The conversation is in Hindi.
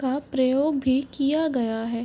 का प्रयोग भी किया गया है।